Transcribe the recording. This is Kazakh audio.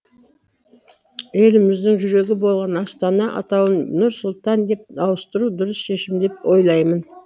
еліміздің жүрегі болған астана атауын нұр сұлтан деп ауыстыру дұрыс шешім деп ойлаймын